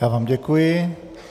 Já vám děkuji.